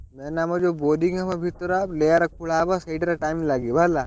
Main ଆମର ଯଉ boring ହବ ଭିତର layer ଖୋଲା ସେଇଥିରେ time ଲାଗିବ ହେଲା।